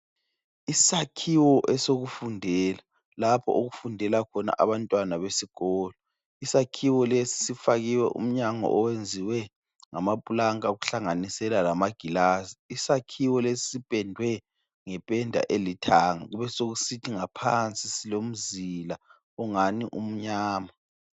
Isakhiwo esokufundela lapho okufundela khona abantwana besikolo. Isakhiwo lesi sifakiwe umnyango owenziwe ngamaplanka kuhlanganisela lamagilazi. Isakhiwo lesi sipendwe ngependa elithanga kubesokusithi ngaphansi silomzila ongani umnyama.